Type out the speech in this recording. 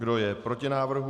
Kdo je proti návrhu?